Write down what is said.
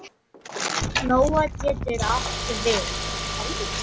Lóa getur átt við